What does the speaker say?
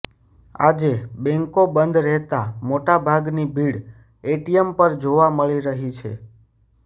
આજે બેંકો બંધ રહેતા મોટા ભાગની ભીડ એટીએમ પર જોવા મળી રહી છે